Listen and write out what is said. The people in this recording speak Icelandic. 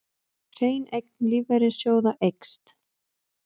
Hrein eign lífeyrissjóða eykst